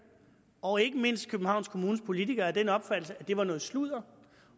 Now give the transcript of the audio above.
og ikke mindst københavns kommunes politikere af den opfattelse at det var noget sludder